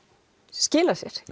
skilað sér